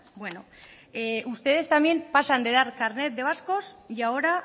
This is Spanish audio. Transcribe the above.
ustedes también pasan de dar carnet de vascos y ahora